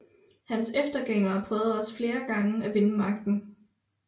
Hans eftergængere prøvede også flere gange at vinde magten